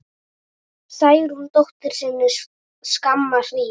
Særúnu dóttur sinni skamma hríð.